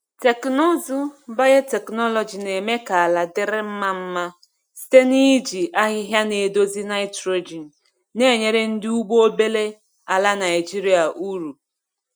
Teknụzụ biotechnology na-eme ka ala dịrị mma mma site n’iji ahịhịa na-edozi nitrogen, na-enyere ndị ugbo obere ala Naijiria uru.